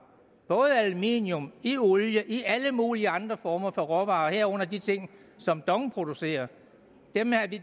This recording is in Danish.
både i aluminium i olie og i alle mulige andre former for råvarer herunder i de ting som dong producerer dem er det